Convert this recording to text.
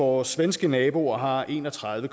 vores svenske naboer har en og tredive